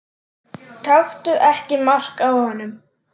Taktu ekki mark á honum.